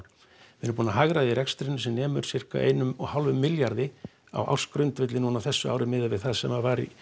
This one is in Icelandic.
við erum búin að hagræða í rekstrinum því sem nemur sirka einum og hálfum milljarði á ársgrundvelli á þessu ári miðað við það sem var í